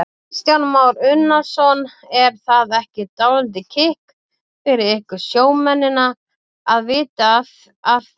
Kristján Már Unnarsson: Er það ekki dálítið kikk fyrir ykkur sjómennina að vita af því?